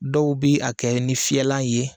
Dɔw bɛ a kɛ ni fiyɛlan ye.